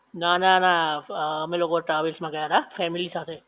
નાં નાં નાં અ અમે લોકો ટ્રાવેલ્સમાં ગયા તા ફેમિલી સાથે.